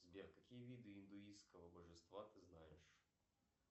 сбер какие виды индуистского божества ты знаешь